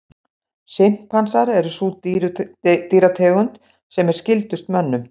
Simpansar er sú dýrategund sem er skyldust mönnum.